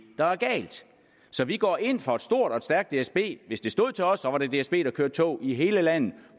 der er galt så vi går ind for et stort og stærkt dsb hvis det stod til os så var det dsb der kørte tog i hele landet